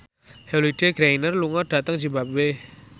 Holliday Grainger lunga dhateng zimbabwe